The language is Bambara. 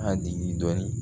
A digi dɔɔnin